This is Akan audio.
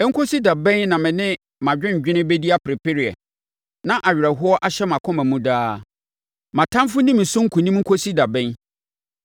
Ɛnkɔsi da bɛn na mene mʼadwendwene bɛdi apereapereɛ na awerɛhoɔ ahyɛ mʼakoma mu daa? Mʼatamfoɔ nni me so nkonim nkɔsi da bɛn?